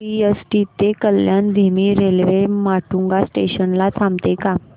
CST ते कल्याण धीमी railway Matunga station ला थांबते का